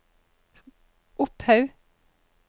Opphaug